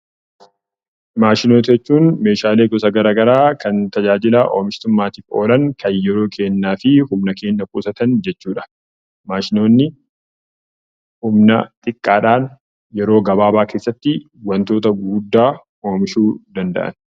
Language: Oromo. Maashinoota jechuun meeshaalee gosa garaagaraa kan tajaajila oomishtummaaf oolan kan yeroo keenyaa fi humna keenya guutuudhaan maashinoonni humna xiqqaadhaan yeroo gabaabaa keessatti wantoota gurguddaa oomishuu danda'anidha.